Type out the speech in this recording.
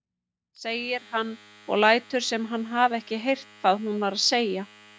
segir hann og lætur sem hann hafi ekki heyrt hvað hún var að segja.